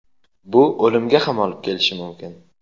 bu o‘limga ham olib kelishi mumkin.